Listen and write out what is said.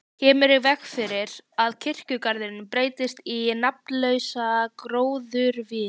Kemur í veg fyrir að kirkjugarðurinn breytist í nafnlausa gróðurvin.